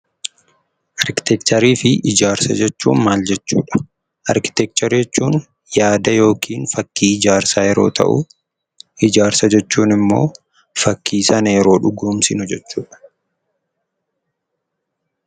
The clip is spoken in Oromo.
Arkiteekcharii fi ijaarsa jechuun maal jechuudha? Arkiteekcharii jechuun yaada yookiin fakkii ijaarsaa yeroo ta'u, ijaarsa jechuun immoo fakkii sana yeroo dhugoomsinu jechuudha.